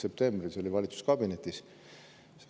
See toimus valitsuskabinetis.